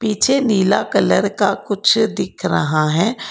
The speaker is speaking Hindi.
पीछे नीला कलर का कुछ दिख रहा है।